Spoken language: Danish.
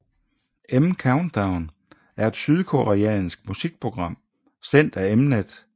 M Countdown er et sydkoreansk musikprogram sendt af Mnet